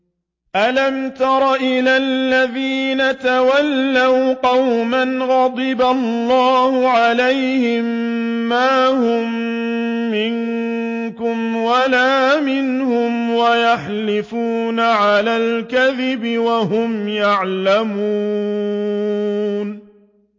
۞ أَلَمْ تَرَ إِلَى الَّذِينَ تَوَلَّوْا قَوْمًا غَضِبَ اللَّهُ عَلَيْهِم مَّا هُم مِّنكُمْ وَلَا مِنْهُمْ وَيَحْلِفُونَ عَلَى الْكَذِبِ وَهُمْ يَعْلَمُونَ